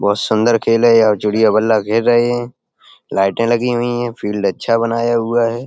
बहुत सुन्दर खेल है यहाँ चिड़िया बल्ला खेल रहे है लाइटे लगी हुई है फील्ड अच्छा बनाया हुआ है।